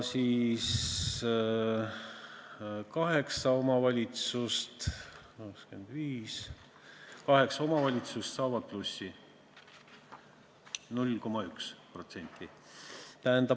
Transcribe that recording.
Kaheksa omavalitsust saavad plussi, 0,1%.